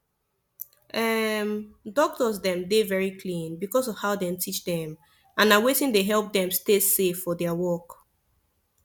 um doctors dem dey very clean because of how dem teach dem and na wetin dey help dem stay safe for their work